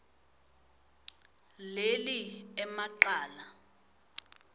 leli ema cala